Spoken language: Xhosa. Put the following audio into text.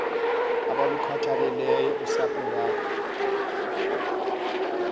abalukhathaleleyo usapho iwakhe